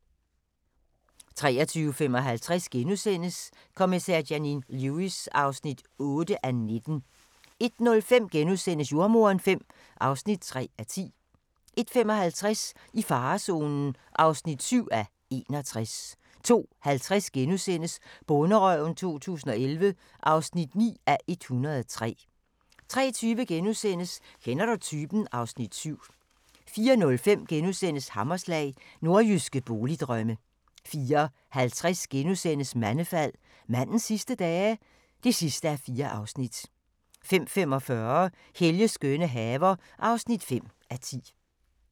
23:55: Kommissær Janine Lewis (8:19)* 01:05: Jordemoderen V (3:10)* 01:55: I farezonen (7:61) 02:50: Bonderøven 2011 (9:103)* 03:20: Kender du typen? (Afs. 7)* 04:05: Hammerslag – Nordjyske boligdrømme * 04:50: Mandefald - mandens sidste dage? (4:4)* 05:45: Helges skønne haver (5:10)